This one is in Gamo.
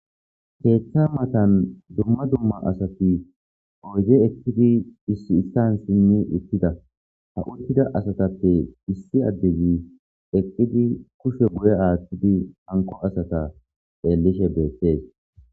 Keeththa matan dumma dumma asati oyze eqkidi issi issan sinni ittida ha uttida asatappe issi addezi eqqidi kushe buye aattidi hanko asata eellishe beettees